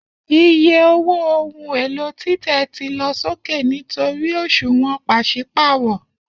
Iye owó ohun èlò títẹ̀ ti lọ sókè nítorí òṣùwọ̀n pàṣípààrọ̀